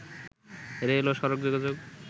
rail ও সড়ক যোগাযোগ